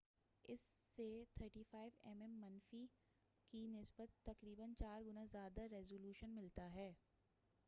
اس سے 35 M M منفی 3136 M M 2 بمقابلہ 864 کی نسبت تقریباً چار گنا زیادہ ریزولوشن ملتا ہے۔